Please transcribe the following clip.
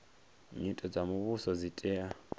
nyito dza muvhuso dzi tea